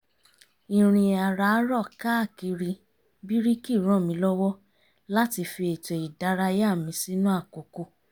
ìrìn àràárọ̀ káàkiri bíríkì ràn mí lọ́wọ́ láti fi ètò ìdárayá mi sínú àkókò